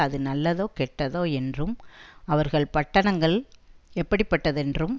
அது நல்லதோ கெட்டதோ என்றும் அவர்கள் பட்டணங்கள் எப்படிப்பட்டதென்றும்